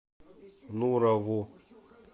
нурову